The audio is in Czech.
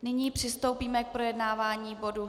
Nyní přistoupíme k projednávání bodu